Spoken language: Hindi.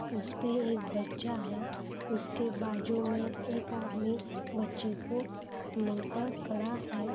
उसपे एक बच्चा है उसके बाजू मैं एक आदमी बच्चे को लेकर खड़ा है।